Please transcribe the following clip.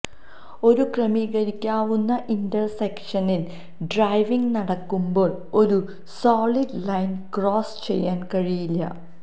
ഒരു ക്രമീകരിക്കാവുന്ന ഇന്റർസെക്ഷനിൽ ഡ്രൈവിംഗ് നടക്കുമ്പോൾ ഒരു സോളിഡ് ലൈൻ ക്രോസ് ചെയ്യാൻ കഴിയില്ല